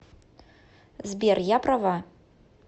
сбер я права